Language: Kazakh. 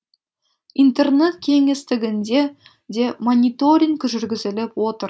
интернет кеңістігінде де мониторинг жүргізіліп отыр